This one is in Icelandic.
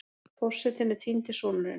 Forsetinn er týndi sonurinn